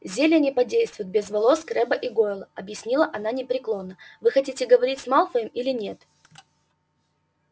зелье не подействует без волос крэбба и гойла объявила она непреклонно вы хотите говорить с малфоем или нет